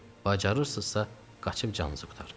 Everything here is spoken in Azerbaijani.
Bacarırsınızsa qaçıb canınızı qurtarın.